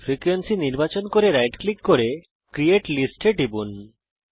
ফ্রিকোয়েন্সিকে নির্বাচন করুন right click করুন এবং ক্রিয়েট list এ টিপুন